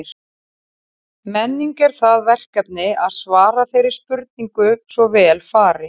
Menning er það verkefni að svara þeirri spurningu svo vel fari.